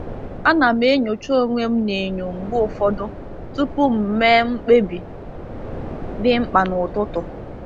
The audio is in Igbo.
Ana m enyocha onwe m n’enyo mgbe ụfọdụ tupu m mee mkpebi dị mkpa n’ụtụtụ.